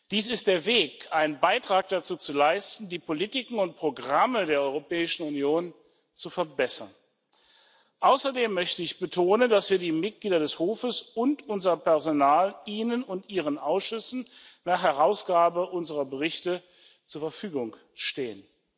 Dies ist der Weg, einen Beitrag dazu zu leisten, die Politiken und Programme der Europäischen Union zu verbessern. Außerdem möchte ich betonen, dass wir die Mitglieder des Hofes und unser Personal Ihnen und Ihren Ausschüssen nach Herausgabe unserer Berichte zur Verfügung stehen.